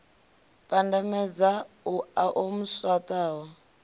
pandamedza uḽa o mu swaṱaho